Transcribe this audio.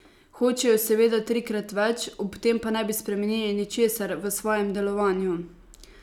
Hočejo seveda trikrat več, ob tem pa ne bi spremenili ničesar v svojem delovanju.